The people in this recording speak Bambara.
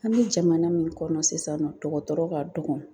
An bɛ jamana min kɔnɔ sisan nɔ, dɔgɔtɔrɔ ka dɔgɔn.